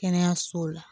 Kɛnɛyasow la